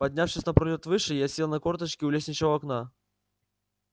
поднявшись на пролёт выше я сел на корточки у лестничного окна